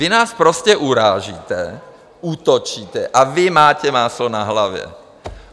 Vy nás sprostě urážíte, útočíte, a vy máte máslo na hlavě.